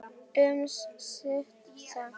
Um stund.